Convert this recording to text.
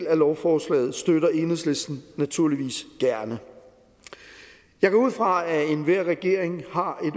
af lovforslaget støtter enhedslisten naturligvis gerne jeg går ud fra at enhver regering har